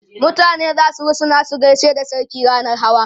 mutane zasu rusuna su gaishe da sarki rannan Hawa